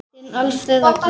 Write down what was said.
Þinn Alfreð Ragnar.